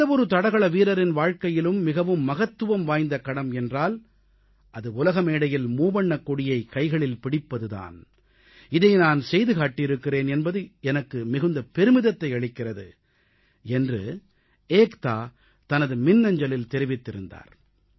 எந்த ஒரு தடகள வீரரின் வாழ்க்கையிலும் மிகவும் மகத்துவம் வாய்ந்த கணம் என்றால் அது உலக மேடையில் மூவண்ணக் கொடியைக் கைகளில் பிடிப்பது தான் இதை நான் செய்து காட்டியிருக்கிறேன் என்பது எனக்கு மிகுந்த பெருமிதத்தை அளிக்கிறது என்று ஏக்தா தனது மின்ஞசலில் தெரிவித்திருந்தார்